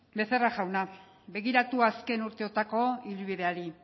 becerra jauna begiratu azken urteotako ibilbideari